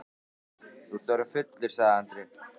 Þú ert orðinn fullur, sagði Andri.